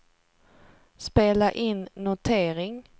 spela in notering